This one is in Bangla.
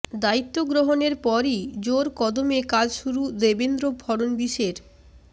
দায়িত্ব গ্রহণের পরই জোর কদমে কাজ শুরু দেবেন্দ্র ফড়নবিসের